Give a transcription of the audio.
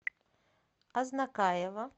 азнакаево